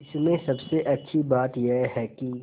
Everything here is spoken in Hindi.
इसमें सबसे अच्छी बात यह है कि